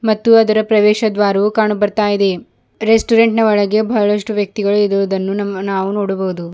ಮತ್ತು ಅದರ ಪ್ರವೇಶದ್ವಾರವು ಕಾಣು ಬರ್ತಾ ಇದೆ ರೆಸ್ಟೋರೆಂಟ್ ನ ಒಳಗೆ ಬಹಳಷ್ಟು ವ್ಯಕ್ತಿಗಳು ಇರುವುದನ್ನು ನಾವು ನೋಡಬಹುದು.